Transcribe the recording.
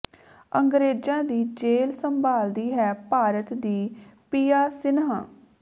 ਅੰਗਰੇਜ਼ਾਂ ਦੀ ਜੇਲ੍ਹ ਸੰਭਾਲਦੀ ਹੈ ਭਾਰਤ ਦੀ ਪਿਯਾ ਸਿਨਹਾ